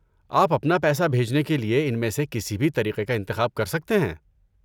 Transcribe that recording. آپ اپنا پیسہ بھیجنے کے لیے ان میں سے کسی بھی طریقے کا انتخاب کر سکتے ہیں؟